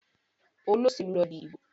Olóṣèlú lọ dì ibo.